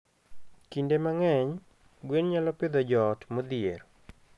Kinde mang'eny, gwen nyalo pidho joot modhier.